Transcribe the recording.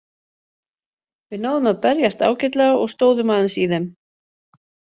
Við náðum að berjast ágætlega og stóðum aðeins í þeim.